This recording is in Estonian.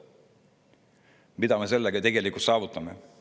" Mida me sellega tegelikult saavutame?